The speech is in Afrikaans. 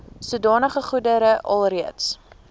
sodanige goedere alreeds